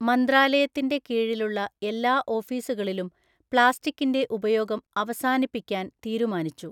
മന്ത്രാലയത്തിൻ്റെ കീഴിലുള്ള എല്ലാ ഓഫീസുകളിലും പ്ലാസ്റ്റിക്കിൻ്റെ ഉപയോഗം അവസാനിപ്പിക്കാൻ തീരുമാനിച്ചു.